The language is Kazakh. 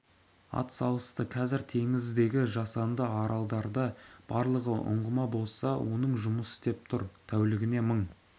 атсалысты қазір теңіздегі жасанды аралдарда барлығы ұңғыма болса оның жұмыс істеп тұр тәулігіне мың